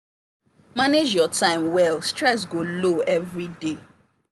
manage your time well stress go low everiday